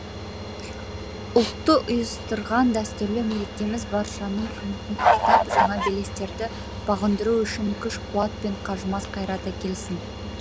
ұлтты ұйыстырған дәстүрлі мерекеміз баршаның үмітін ақтап жаңа белестерді бағындыру үшін күш қуат пен қажымас қайрат әкелсін